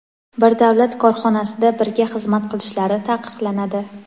bir davlat korxonasida birga xizmat qilishlari taqiqlanadi.